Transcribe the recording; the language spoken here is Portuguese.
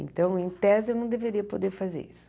Então, em tese, eu não deveria poder fazer isso.